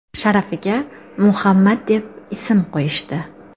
sharafiga Muhammad deb ism qo‘yishdi.